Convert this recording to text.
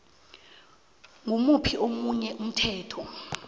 ngimuphi omunye umthetho